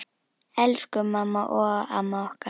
Elsku mamma og amma okkar.